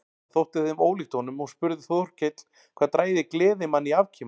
Það þótti þeim ólíkt honum og spurði Þórkell hvað drægi gleðimann í afkima.